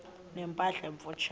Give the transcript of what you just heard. ne mpahla emfutshane